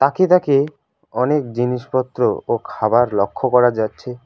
তাকে তাকে অনেক জিনিসপত্র ও খাবার লক্ষ করা যাচ্ছে।